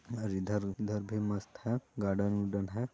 और इधर -उधर भी मस्त है गार्डन -उडन हैं।